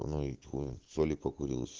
не и хуй соли покурил